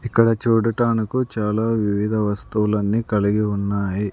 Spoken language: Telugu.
ఇక్కడ చూడటానికి చాలా వివిధ వస్తువులన్నీ కలిగి ఉన్నాయి.